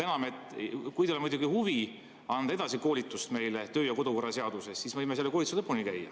Kui teil on muidugi huvi anda meile edasi koolitust töö‑ ja kodukorra seaduse kohta, siis võime selle koolituse lõpuni käia.